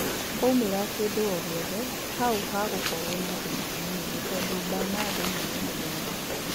Kwaumĩra kĩndũ ogĩothe, hau hagũkorwo na thĩna mũnene tondũ Bernado nĩ mũndũ mwega